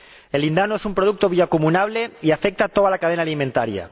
El lindano es un producto bioacumulable que afecta a toda la cadena alimentaria.